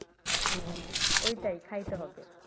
ঐ টাই খাইতে হবে।